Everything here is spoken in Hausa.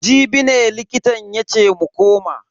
Jibi ne likitan yace mu koma.